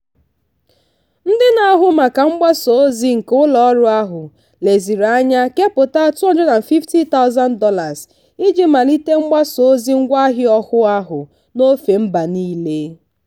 ndị na-ahụ maka mgbasa ozi nke ụlọọrụ ahụ leziri anya kepụta $250000 iji malite mgbasa ozi ngwaahịa ọhụụ ahụ n'ofe mba niile.